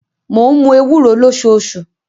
Mo ń mu ewuro losoṣu.